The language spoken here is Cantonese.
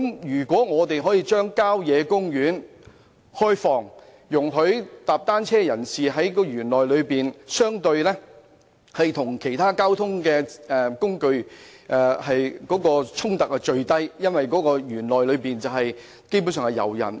如果我們可以開放郊野公園，容許遊人在園內踏單車，與其他交通工具的衝突便會減至最低，因為園內基本上以遊人為主。